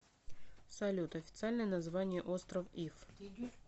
салют официальное название остров иф